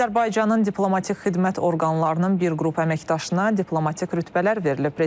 Azərbaycanın diplomatik xidmət orqanlarının bir qrup əməkdaşına diplomatik rütbələr verilib.